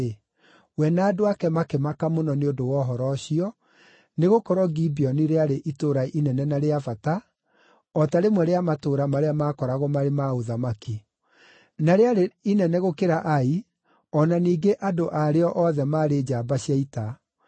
Nake, we na andũ ake makĩmaka mũno nĩ ũndũ wa ũhoro ũcio, nĩgũkorwo Gibeoni rĩarĩ itũũra inene na rĩa bata, o ta rĩmwe rĩa matũũra marĩa maakoragwo marĩ ma ũthamaki; na rĩarĩ inene gũkĩra Ai, o na ningĩ andũ a rĩo othe maarĩ njamba cia ita.